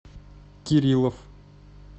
кириллов